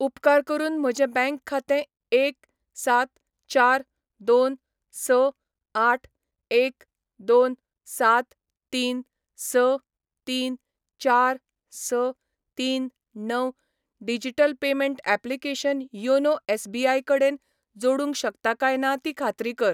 उपकार करून म्हजें बँक खातें एक सात चार दोन स आठ एक दोन सात तीन स तीन चार स तीन णव digital payment application YONO SBI कडेन जोडूंक शकता काय ना ती खात्री कर.